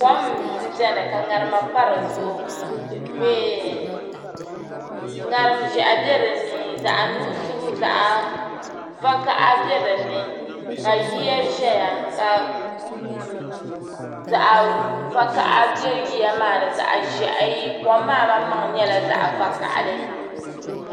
Kom m biɛni ka ŋarima pa di zuɣu ŋarim ʒehi be dinni zaɣa nuɣuso zaɣa vakaha biɛ dinni ka yiya ʒɛya ka zaɣa vakaha biɛ yiya maa ni zaɣa ʒehi kom maa malimaŋa nyɛla zaɣa vakahali.